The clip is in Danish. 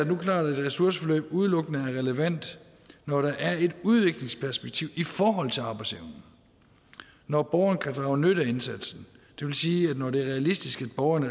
nu klart at et ressourceforløb udelukkende er relevant når der er et udviklingsperspektiv i forhold til arbejdsevnen når borgeren kan drage nytte af indsatsen det vil sige når det er realistisk at borgeren i